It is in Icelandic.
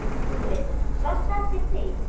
SKÚLI: Sástu eftir því?